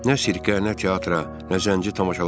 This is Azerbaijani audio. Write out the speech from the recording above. Nə sirkə, nə teatra, nə zənci tamaşalarına.